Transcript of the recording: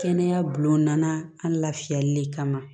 Kɛnɛya bulon nana an lafiyali de kama